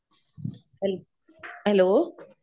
hello